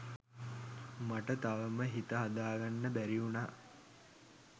මට තවම හිත හදාගන්න බැරිඋනා